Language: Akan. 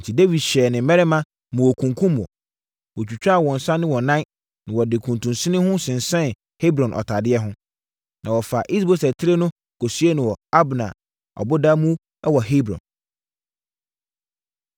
Enti, Dawid hyɛɛ ne mmarima ma wɔkunkumm wɔn. Wɔtwitwaa wɔn nsa ne wɔn nan, na wɔde kuntunsini no sensɛn Hebron ɔtadeɛ ho. Na wɔfaa Is-Boset tire no kɔsiee no wɔ Abner ɔboda mu wɔ Hebron.